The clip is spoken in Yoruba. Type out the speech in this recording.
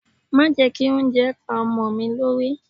Má jẹ́ kí oúnjẹ pá ọmọ mi lórí.